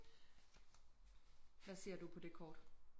Hvad ser du på det kort